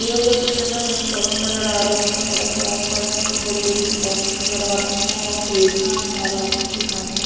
देए गए चित्र में हमें एक सड़क नजर आ रही है सड़क के आस पास हमको बड़ी बड़ी दुकानें नज़र आ रही हैं और सीढ़ियाँ हैं हमारे आँखो के सामने --